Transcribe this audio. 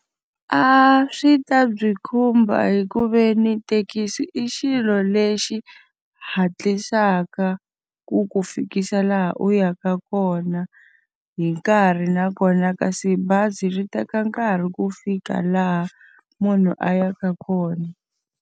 A swi ta byi khumba hi ku ve ni thekisi i xilo lexi hatlisaka ku ku fikisa laha u yaka kona hi nkarhi, nakona kasi bazi ri teka nkarhi ku fika laha munhu a yaka kona.